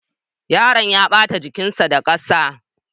Yaron ya ɓata jikinsa da ƙasa.